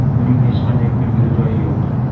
Buning hech qanday kulguli joyi yo‘q.